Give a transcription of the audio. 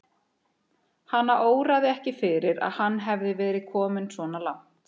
Hana óraði ekki fyrir að hann hefði verið kominn svona langt.